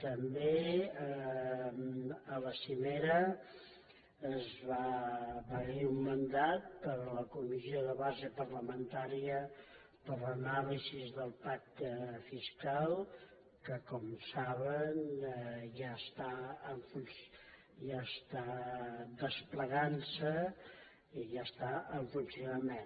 també a la cimera hi va haver un mandat per a la comissió de base parlamentària per a l’anàlisi del pacte fiscal que com saben ja està desplegant se i ja està en funcionament